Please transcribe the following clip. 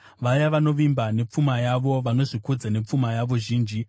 vaya vanovimba nepfuma yavo vanozvikudza nepfuma yavo zhinji?